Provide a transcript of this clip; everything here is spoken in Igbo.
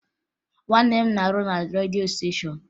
Nwanne m na-arụ na redio stéshọ̀n